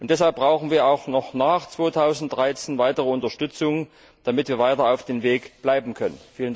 Deshalb brauchen wir auch noch nach 2013 weitere Unterstützung, damit wir weiter auf dem Weg bleiben können.